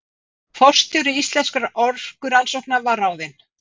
Forstjóri Íslenskra orkurannsókna var ráðinn